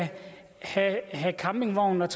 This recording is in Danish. have campingvognen